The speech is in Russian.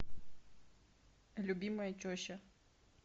любимая теща